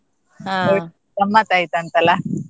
ಗಮ್ಮತ್ ಆಯ್ತಾ ಅಂತ ಅಲ್ಲ.